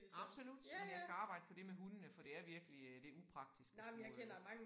Absolut men jeg skal arbejde på det med hundene for det er virkelig øh det upraktisk at skulle øh